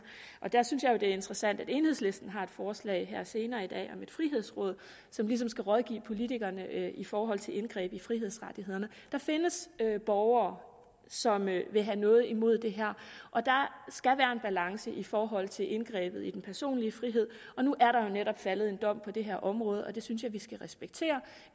og der synes jeg jo det er interessant at enhedslisten har et forslag her senere i dag om et frihedsråd som ligesom skal rådgive politikerne i forhold til indgreb i frihedsrettighederne der findes borgere som vil have noget imod det her og der skal være en balance i forhold til indgrebet i den personlige frihed nu er der jo netop faldet en dom på det her område og det synes jeg at vi skal respektere